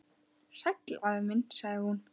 Sæll afi minn sagði hún.